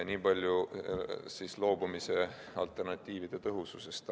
Nii palju siis loobumise alternatiivide tõhususest.